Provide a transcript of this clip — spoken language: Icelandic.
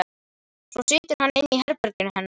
Svo situr hann inni í herberginu hennar.